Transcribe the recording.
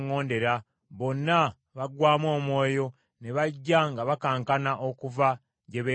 Bonna baggwaamu omwoyo, ne bajja nga bakankana okuva gye beekwese.